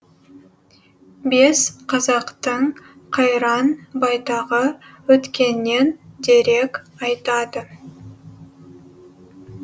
бес қазақтың қайран байтағы өткеннен дерек айтады